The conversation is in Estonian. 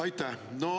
Aitäh!